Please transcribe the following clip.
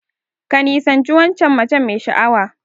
Ka nisanci waccan mace mai sha'awa.